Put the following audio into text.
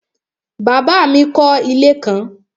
Bàbá mi kọ́ ilé kan